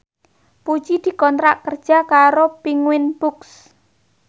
Puji dikontrak kerja karo Penguins Books